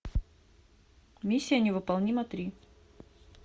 миссия невыполнима три